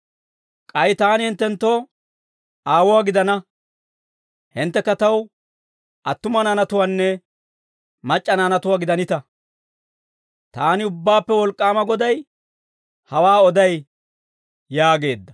K'ay taani hinttenttoo aawuwaa gidana; hinttekka taw attuma naanatuwaanne, mac'c'a naanatuwaa gidanita. Taani Ubbaappe Wolk'k'aama Goday, hawaa oday» yaageedda.